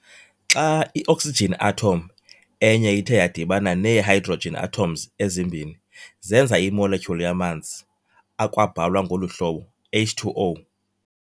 Xa i-oxygen atom enye ithe yadibana nee-hydrogen atoms ezimbini, zenza i-Molecule yamanzi, akwabhalwa ngolu hlobo H2O.